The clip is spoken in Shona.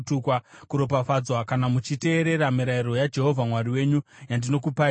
kuropafadzwa kana muchiteerera mirayiro yaJehovha Mwari wenyu yandinokupai nhasi;